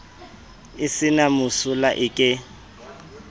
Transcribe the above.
e se na mosola eke